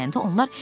Dostu bəyəndi.